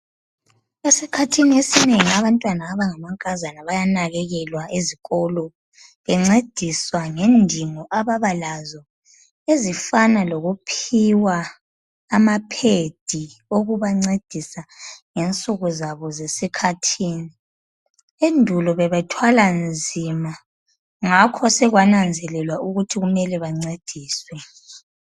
Esikhathini esinengi abantwana abangamankazana bayanakekelwa ezikolo bencediswa ngendingo Ababa lazo ezifana lokuphiwa amaphedi okubancedisa ngensuku zabo zesikhathini. Endulo bebethwala nzima ngakho sekwananzelwa ukuthi kunele bancediswe.